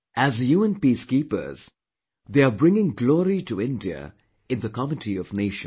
As UN Peacekeepers, they are bringing glory to the nation in the comity of nations